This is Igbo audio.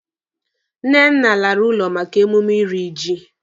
Nnenna lara ụlọ maka emume iri ji.